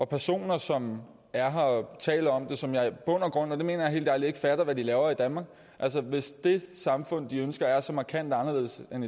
personer som er her og taler om det og som jeg i bund og grund og det mener jeg helt ærligt ikke fatter hvad laver i danmark altså hvis det samfund de ønsker er så markant anderledes end